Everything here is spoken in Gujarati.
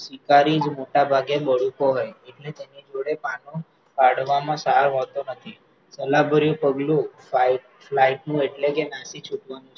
શિકારી મોટા ભાગે બડતો નથી એટલે તેમની જોડે બાનું કાઢવામાં સાર મળતો નથી, કલાભર્યું પગલું flight નું એટલે કે નાસી છૂટવાનું છે,